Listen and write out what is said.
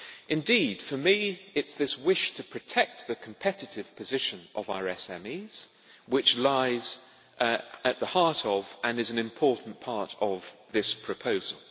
Indeed, for me it is this wish to protect the competitive position of our SMEs which lies at the heart of, and is an important part of, this proposal.